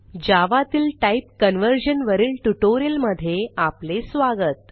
जावा तील type conversion वरील ट्युटोरियलमधे आपले स्वागत